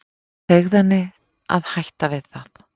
Segðu henni að hætta við það.